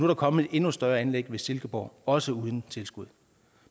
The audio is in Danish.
der kommet et endnu større anlæg i silkeborg også uden tilskud